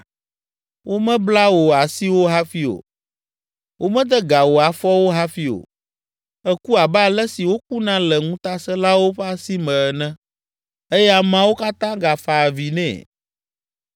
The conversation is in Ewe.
Womebla wò asiwo hafi o. Womede ga wò afɔwo hafi o. Èku abe ale si wokuna le ŋutasẽlawo ƒe asi me ene.” Eye ameawo katã gafa avi nɛ.